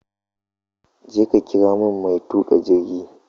Jeka ƙira mun mai tuƙa jirgi!